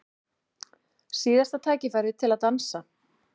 Síðasta tækifærið til að dansa